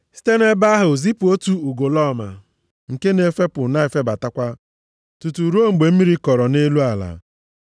site nʼebe ahụ zipụ otu ugolọma nke na-efepụ na-efebatakwa, tutu ruo mgbe mmiri kọrọ nʼelu ala.